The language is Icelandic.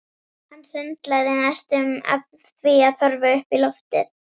Hann sundlaði næstum af því að horfa upp í loftið.